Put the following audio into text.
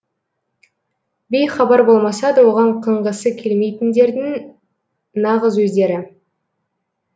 бейхабар болмаса да оған қыңғысы келмейтіндердің нағыз өздері